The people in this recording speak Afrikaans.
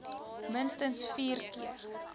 minstens vier keer